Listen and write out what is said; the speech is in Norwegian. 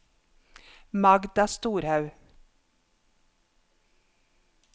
Magda Storhaug